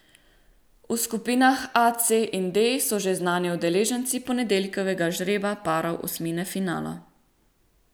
V skupinah A, C in D so že znani udeleženci ponedeljkovega žreba parov osmine finala.